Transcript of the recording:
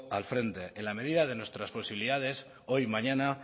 al frente en la medida de nuestras posibilidades hoy mañana